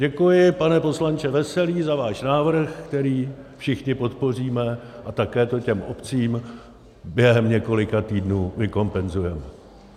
Děkuji, pane poslanče Veselý, za váš návrh, který všichni podpoříme, a také to těm obcím během několika týdnů vykompenzujeme.